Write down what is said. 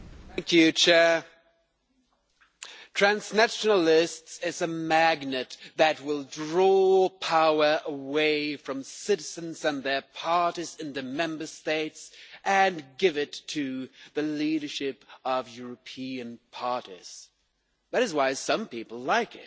Madam President, transnational lists are a magnet that will draw power away from citizens and their parties in the Member States and give it to the leadership of European parties. That is why some people like